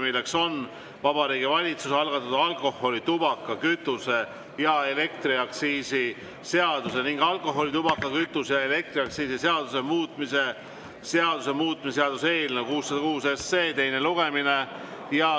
See on Vabariigi Valitsuse algatatud alkoholi-, tubaka-, kütuse- ja elektriaktsiisi seaduse ning alkoholi-, tubaka-, kütuse- ja elektriaktsiisi seaduse muutmise seaduse muutmise seaduse eelnõu 606 teine lugemine.